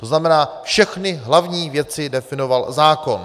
To znamená, všechny hlavní věci definoval zákon.